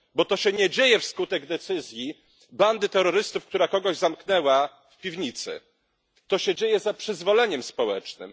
Bo to się nie dzieje wskutek decyzji bandy terrorystów, która kogoś zamknęła w piwnicy. To się dzieje za przyzwoleniem społecznym.